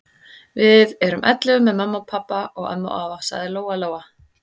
Við erum ellefu með mömmu og pabba og ömmu og afa, sagði Lóa-Lóa.